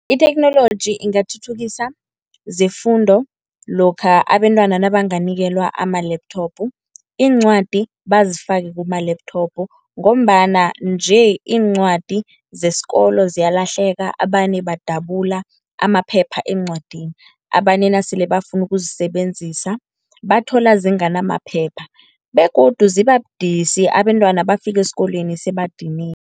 Itheknoloji ingathuthukisa zefundo lokha abentwana nabanganikelwa ama-laptop, iincwadi bazifake kuma-laptop, ngombana nje iincwadi zesikolo ziyalahleka abanye badabula amaphepha eencwadini. Abanye nasele bafuna ukuzisebenzisa bathola zinganamaphepha begodu ziba budisi abentwana bafika esikolweni sebadiniwe.